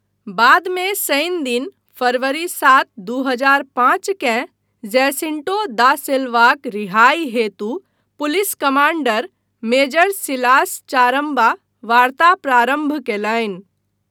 बादमे शनिदिन, फरवरी सात, दू हजार पाँच केँ जैसिंटो दा सिल्वाक रिहाइ हेतु police commander major Silas Charamba वार्ता प्रारम्भ कयलनि।